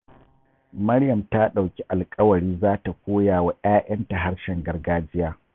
Maryam ta ɗauki alƙawari za ta koya wa 'ya'yanta harshen gargajiya.